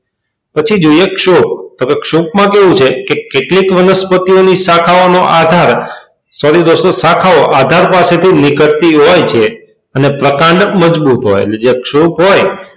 પછી જોઈએ ક્ષુપ તો ક્ષુપમાં કેવું છે એટલે એક વનસ્પતિઓની શાખાઓ નો આધાર sorry દોસ્તો શાખાઓ આધાર પાસેથી નીકળતી હોય છે અને પ્રકાંડ મજબૂત હોય જે ક્ષુપ હોય,